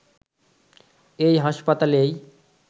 এই হাসপাতালেই